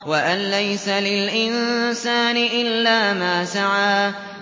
وَأَن لَّيْسَ لِلْإِنسَانِ إِلَّا مَا سَعَىٰ